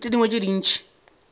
le tše dingwe tše ntši